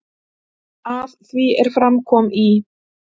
Að því er fram kom í